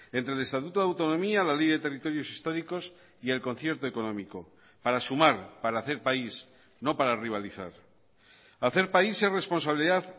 entre el estatuto de autonomía la ley de territorios históricos y el concierto económico para sumar para hacer país no para rivalizar hacer país es responsabilidad